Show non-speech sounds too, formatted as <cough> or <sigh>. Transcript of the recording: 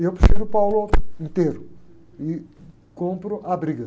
E eu prefiro o <unintelligible> inteiro e compro a briga.